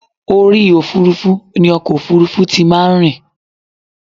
Orí òfurufú ni ọkọ̀ òfurufú ti máa ń rìn.